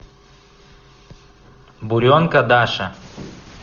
буренка даша